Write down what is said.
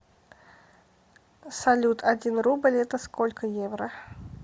салют один рубль это сколько евро